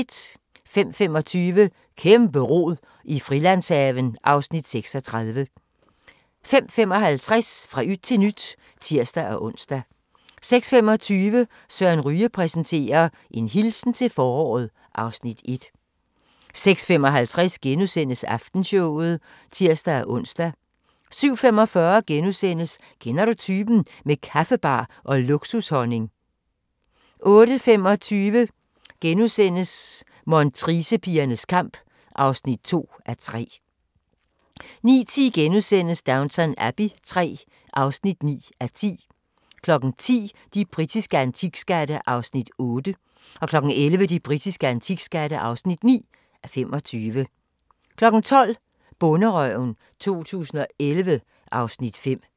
05:25: Kæmpe-rod i Frilandshaven (Afs. 36) 05:55: Fra yt til nyt (tir-ons) 06:25: Søren Ryge præsenterer: En hilsen til foråret (Afs. 1) 06:55: Aftenshowet *(tir-ons) 07:45: Kender du typen? – med kaffebar og luksushonning * 08:25: Montricepigernes kamp (2:3)* 09:10: Downton Abbey III (9:10)* 10:00: De britiske antikskatte (8:25) 11:00: De britiske antikskatte (9:25) 12:00: Bonderøven 2011 (Afs. 5)